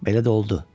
Belə də oldu.